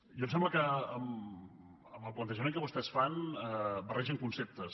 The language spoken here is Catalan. i em sembla que amb el plantejament que vostès fan barregen conceptes